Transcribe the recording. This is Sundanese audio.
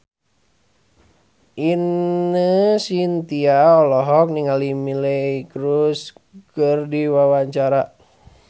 Ine Shintya olohok ningali Miley Cyrus keur diwawancara